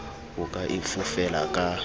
o ka e fofela ka